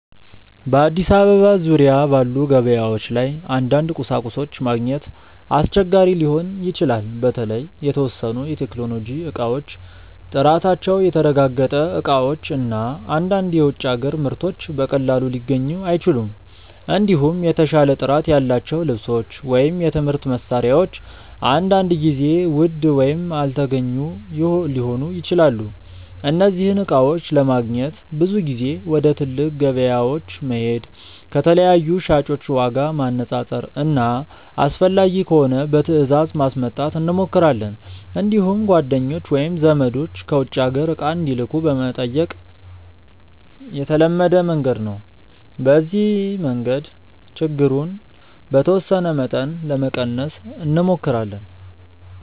በአዲስ አበባ ዙሪያ ባሉ ገበያዎች ላይ አንዳንድ ቁሳቁሶች ማግኘት አስቸጋሪ ሊሆን ይችላል። በተለይ የተወሰኑ የቴክኖሎጂ እቃዎች፣ ጥራታቸው የተረጋገጠ እቃዎች እና አንዳንድ የውጭ አገር ምርቶች በቀላሉ ሊገኙ አይችሉም። እንዲሁም የተሻለ ጥራት ያላቸው ልብሶች ወይም የትምህርት መሳሪያዎች አንዳንድ ጊዜ ውድ ወይም አልተገኙ ሊሆኑ ይችላሉ። እነዚህን እቃዎች ለማግኘት ብዙ ጊዜ ወደ ትልቅ ገበያዎች መሄድ፣ ከተለያዩ ሻጮች ዋጋ ማነፃፀር እና አስፈላጊ ከሆነ በትእዛዝ ማስመጣት እንሞክራለን። እንዲሁም ጓደኞች ወይም ዘመዶች ከውጭ አገር እቃ እንዲልኩ መጠየቅ የተለመደ መንገድ ነው። በዚህ መንገድ ችግሩን በተወሰነ መጠን ለመቀነስ እንሞክራለን።